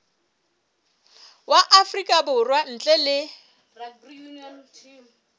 wa afrika borwa ntle le